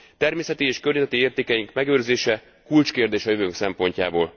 Természeti és környezeti értékeink megőrzése kulcskérdés a jövőnk szempontjából.